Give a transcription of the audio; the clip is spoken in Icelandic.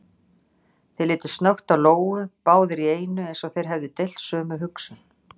Þeir litu snöggt á Lóu, báðir í einu eins og þeir hefðu deilt sömu hugsun.